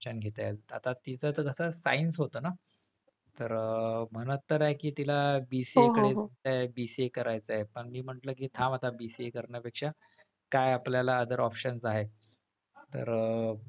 शिक्षण घेता येईल आता तीच तर कस science होत ना तर म्हणत तर आहे कि तिला BCA करायचंय BCA करायचंय पण मी म्हंटल कि थांब आता BCA करण्यापेक्षा काय आपल्याला other options आहे तर,